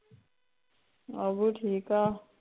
ਠੀਕ ਆ